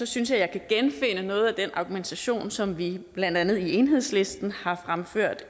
synes jeg jeg kan genfinde noget af den argumentation som vi blandt andet i enhedslisten har fremført